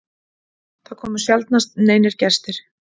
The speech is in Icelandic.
Það komu sjaldnast neinir gestir.